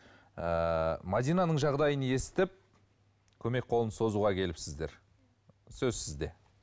ыыы мәдинаның жағдайын естіп көмек қолын созуға келіпсіздер сөз сізде